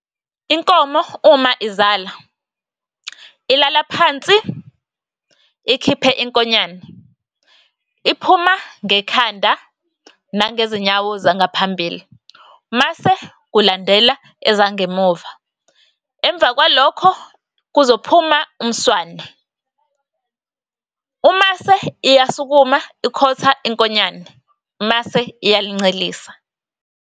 Inkomo uma izala, ilala phansi ikhiphe inkonyane. Iphuma ngekhanda nangezinyawo zangaphambili, mase kulandela ezangemuva. Emva kwalokho kuzophuma umswane, umase iyasukuma ikhotha inkonyane, mase iyalincelisa.